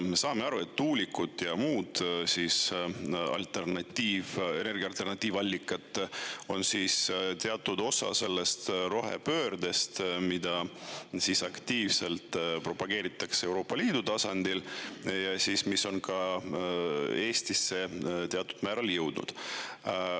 Me saame aru, et tuulikud ja muud energia alternatiivallikad on teatud osa sellest rohepöördest, mida aktiivselt propageeritakse Euroopa Liidu tasandil ja mis on ka Eestisse teatud määral jõudnud.